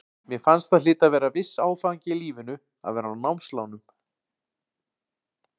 Mér fannst það hlyti að vera viss áfangi í lífinu að vera á námslánum.